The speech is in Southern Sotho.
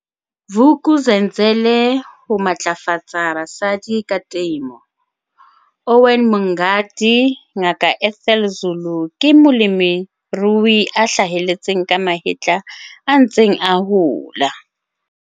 Vuk'uzenzele Ho matlafatsa basadi ka temo, Owen Mngadi Ngaka Ethel Zulu ke molemirui a hlaheletseng ka mahetla a ntseng a hola.